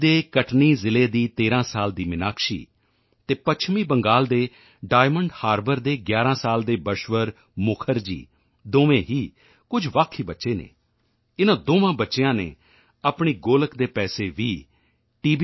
ਦੇ ਕਟਨੀ ਜ਼ਿਲ੍ਹੇ ਦੀ 13 ਸਾਲ ਦੀ ਮਿਨਾਕਸ਼ੀ ਅਤੇ ਪੱਛਮ ਬੰਗਾਲ ਦੇ ਡਾਇਮੰਡ ਹਾਰਬਰ ਦੇ 11 ਸਾਲ ਦੇ ਬਸ਼ਵਰ ਮੁਖਰਜੀ ਦੋਵੇਂ ਹੀ ਕੁਝ ਵੱਖ ਹੀ ਬੱਚੇ ਹਨ ਇਨ੍ਹਾਂ ਦੋਵਾਂ ਬੱਚਿਆਂ ਨੇ ਆਪਣੀ ਗੋਲਕ ਦੇ ਪੈਸੇ ਵੀ ਟੀ